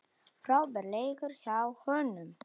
Frábær leikur hjá honum.